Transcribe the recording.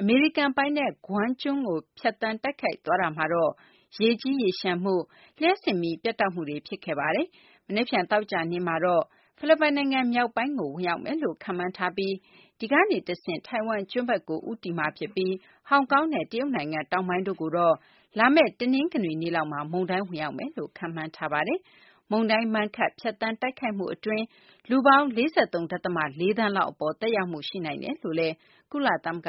အမေရိကန် ပိုင်နက် Guam ကျွန်းကို ဖြတ်သန်းတိုက်ခတ်သွားတာမှာတော့ ရေကြီးရေလျှံမှု၊ လျှပ်စစ်မီး ပြတ်တောက်မှုတွေ ဖြစ်ခဲ့ပါတယ်။ မနက်ဖြန် သောကြာနေ့မှာတော့ ဖိလစ်ပိုင်နိုင်ငံ မြောက်ပိုင်းကို Mangkhut ဝင်ရောက်မယ်လို့ ခန့်မှန်းထားပြီး ဒီကနေ တဆင့် ထိုင်ဝမ်ကျွန်းဘက်ကို ဦးတည်သွားပြီး ဟောင်ကောင်နဲ့ တရုတ်နိုင်ငံ တောင်ပိုင်းတို့ကိုတော့ လာမယ့် တနင်္ဂနွေနေ့ လောက်မှာ မုန်တိုင်း ဝင်ရောက်မယ်လို့ ခန့်မှန်းထားပါတယ်။ မုန်တိုင်း Mangkhut ဖြတ်သန်းတိုက်ခတ်မှု အတွင်း လူပေါင်း ၄၃ ဒသမ ၄ သန်းလောက် သက်ရောက်မှု ရှိနိုင်တယ်လို့ ကုလသမဂ